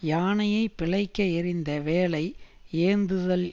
யானையை பிழைக்க எறிந்த வேலை யேந்துதல்